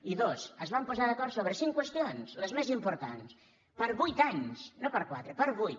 i dos es van posar d’acord sobre cinc qüestions les més importants per a vuit anys no per a quatre per a vuit